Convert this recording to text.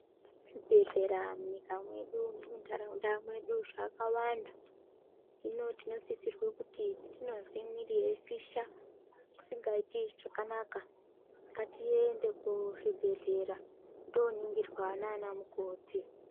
Zvibhedhlera munyika mwedu nemuntaraunda mwedu zvakawanda . Hino tino sisirwa kuti patinozwe mwiri yeipisha isingaiti zvakanaka ngatiende kuzvibhedhlera toningirwa naanamukoti.